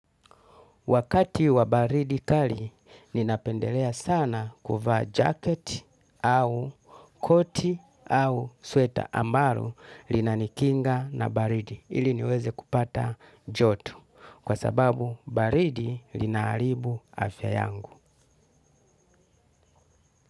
Wakati wa baridi kali ninapendelea sana kuvaa jaketi au koti au sweta ambalo linanikinga na baridi. Ili niweze kupata joto kwa sababu baridi lina haribu afya yangu.